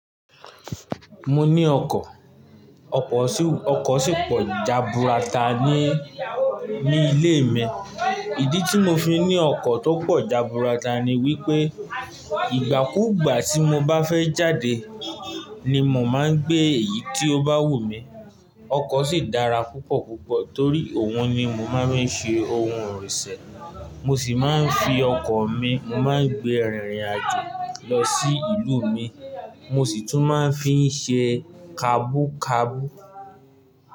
Mo ní ọkọ̀, ọkọ̀ sì pọ̀ jaburata ní, ní ilé mi. Ìdí tí mo fi ní ọkọ̀ tó pọ̀ jaburata ni wípé ìgbàkúgbà tí mo bá fẹ́ jáde ni mò máa ń gbé èyí tí ó bá wù mí. Ọkọ̀ sì dára púpọ̀ púpọ̀ torí òun ni mo máa ń ṣe ohun ìrìnsẹ̀. Mo sì máa ń fi ọkọ̀ mi, mo máa ń gbé rìnrìn àjò lọ sí ìlú mi. Mo sì tún máa ń fi ń ṣe kabúkabú.